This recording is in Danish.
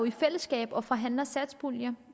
i fællesskab og forhandler satspuljen